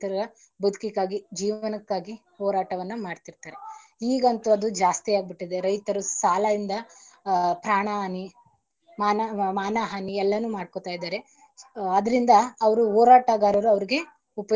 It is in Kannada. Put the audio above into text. ಮಾಡ್ತಾರೆ ರೈತರ ಬದುಕಿಗಾಗಿ ಜೀವನಕ್ಕಾಗಿ ಹೋರಾಟವನ್ನ ಮಾಡ್ತಿರ್ತಾರೆ ಈಗಂತೂ ಅದು ಜಾಸ್ತಿ ಆಗ್ಬಿಟ್ಟಿದೆ ರೈತರು ಸಾಲ ಇಂದ ಹ ಪ್ರಾಣಹಾನಿ ಮಾನ~ ಮಾನಹಾನಿ ಎಲ್ಲನು ಮಾಡ್ಕೋತ ಇದಾರೆ ಅದರಿಂದ ಅವರು ಹೋರಾಟಗಾರರು.